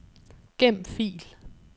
Gem fil.